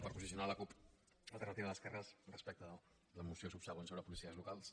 per posicionar la cup alternativa d’esquerres respecte a la moció subsegüent sobre policies locals